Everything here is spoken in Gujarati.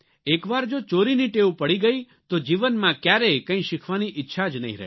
એક વાર જો ચોરીની ટેવ પડી ગઇ તો જીવનમાં ક્યારેય કંઇ શીખવાની ઇચ્છા જ નહીં રહે